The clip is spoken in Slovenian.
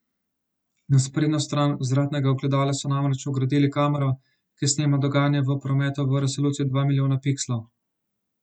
Na sprednjo stran vzvratnega ogledala so namreč vgradili kamero, ki snema dogajanje v prometu v resoluciji dva milijona pikslov.